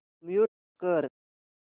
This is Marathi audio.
म्यूट कर